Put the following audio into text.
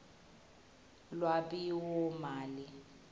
lwabiwomali